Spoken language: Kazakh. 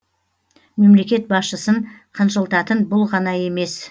мемлекет басшысын қынжылтатын бұл ғана емес